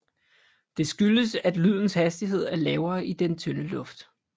Det skyldes at lydens hastighed er lavere i den tynde luft